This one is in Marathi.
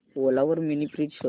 ओला वर मिनी फ्रीज शोध